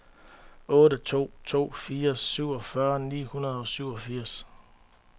otte to to fire syvogfyrre ni hundrede og syvogfirs